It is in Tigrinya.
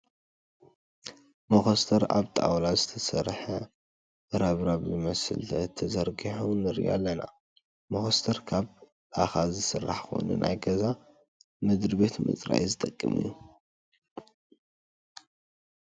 መኾስተር ኣብ ጣውላ ዝተሰረሐ ረብራብ ዝመስል ተዘርጊሑ ንርኢ ኣለና። መኾስተር ካብ ላካ ዝስራሕ ኾይኑ ናይ ገዛ ምድራ ቤት ንምፅራይ ዝጠቅም እዩ።